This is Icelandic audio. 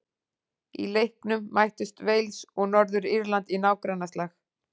Í leiknum mættust Wales og Norður-Írland í nágrannaslag.